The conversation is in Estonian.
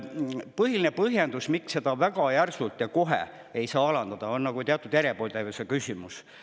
Põhiline põhjendus, miks seda väga järsult ja kohe ei saa alandada, on see, et teatud mõttes on see järjepidevuse küsimus.